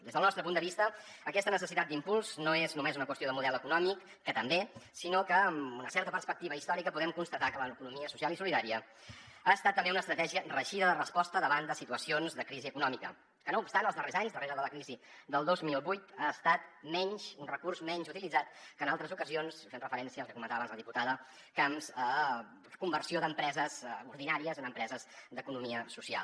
des del nostre punt de vista aquesta necessitat d’impuls no és només una qüestió de model econòmic que també sinó que amb una certa perspectiva històrica podem constatar que l’economia social i solidària ha estat també una estratègia reeixida de resposta davant de situacions de crisi econòmica que no obstant els darrers anys darrere de la crisi del dos mil vuit ha estat un recurs menys utilitzat que en altres ocasions fent referència al que comentava abans la diputada camps conversió d’empreses ordinàries en empreses d’economia social